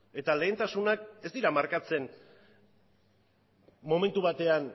eta lehentasunak ez dira markatzen momentu batean